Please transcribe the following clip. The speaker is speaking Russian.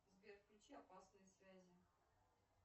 сбер включи опасные связи